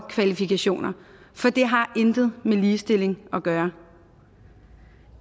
kvalifikationer for det har intet med ligestilling at gøre